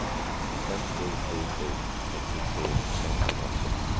fem sju sju sju trettiotre femhundratvå